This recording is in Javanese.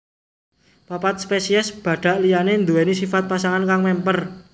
Papat spesies badhak liyané nduwèni sifat pasangan kang mémper